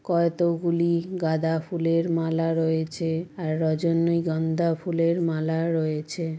কতগুলি গাঁদা ফুলের মালা রয়েছে আর রজনীগন্ধা ফুলের মালা রয়েছে ।